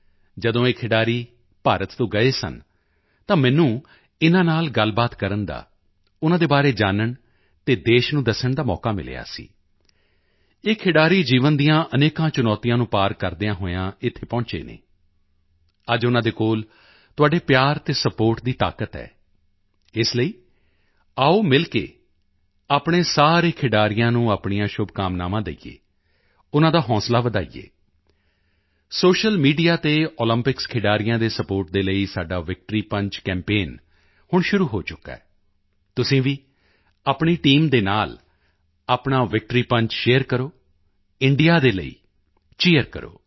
ਜਦੋਂ ਇਹ ਖਿਡਾਰੀ ਭਾਰਤ ਤੋਂ ਗਏ ਸਨ ਤਾਂ ਮੈਨੂੰ ਇਨ੍ਹਾਂ ਨਾਲ ਗੱਲਬਾਤ ਕਰਨ ਦਾ ਉਨ੍ਹਾਂ ਦੇ ਬਾਰੇ ਜਾਨਣ ਅਤੇ ਦੇਸ਼ ਨੂੰ ਦੱਸਣ ਦਾ ਮੌਕਾ ਮਿਲਿਆ ਸੀ ਇਹ ਖਿਡਾਰੀ ਜੀਵਨ ਦੀਆਂ ਅਨੇਕਾਂ ਚੁਣੌਤੀਆਂ ਨੂੰ ਪਾਰ ਕਰਦਿਆਂ ਹੋਇਆਂ ਇੱਥੇ ਪਹੁੰਚੇ ਹਨ ਅੱਜ ਉਨ੍ਹਾਂ ਦੇ ਕੋਲ ਤੁਹਾਡੇ ਪਿਆਰ ਅਤੇ ਸਪੋਰਟ ਦੀ ਤਾਕਤ ਹੈ ਇਸ ਲਈ ਆਓ ਮਿਲ ਕੇ ਆਪਣੇ ਸਾਰੇ ਖਿਡਾਰੀਆਂ ਨੂੰ ਆਪਣੀਆਂ ਸ਼ੁਭਕਾਮਨਾਵਾਂ ਦੇਈਏ ਉਨ੍ਹਾਂ ਦਾ ਹੌਸਲਾ ਵਧਾਈਏ ਸੋਸ਼ੀਅਲ ਮੀਡੀਆ ਤੇ ਓਲੰਪਿਕਸ ਖਿਡਾਰੀਆਂ ਦੇ ਸਪੋਰਟ ਦੇ ਲਈ ਸਾਡਾ ਵਿਕਟਰੀ ਪੰਚ ਕੈਂਪੇਨ ਹੁਣ ਸ਼ੁਰੂ ਹੋ ਚੁੱਕਿਆ ਹੈ ਤੁਸੀਂ ਵੀ ਆਪਣੀ ਟੀਮ ਦੇ ਨਾਲ ਆਪਣਾ ਵਿਕਟਰੀ ਪੰਚ ਸ਼ੇਅਰ ਕਰੋ ਇੰਡੀਆ ਦੇ ਲਈ ਚੀਰ ਕਰੋ